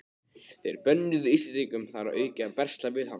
Þeir bönnuðu Íslendingum þar að auki að versla við hann.